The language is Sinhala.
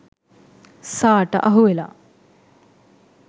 සා ට අහුවෙලා